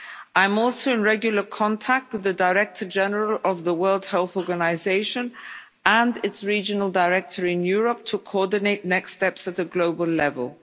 I'm also in regular contact with the Director General of the World Health Organization and its regional director in Europe to coordinate next steps at a global level.